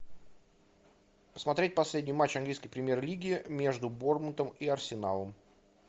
смотреть последний матч английской премьер лиги между борнмутом и арсеналом